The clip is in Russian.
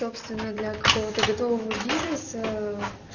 собственно для кого то готового бизнеса